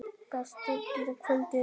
Best að gera kvöldið áður.